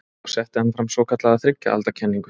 Þá setti hann fram svokallaða þriggja alda kenningu.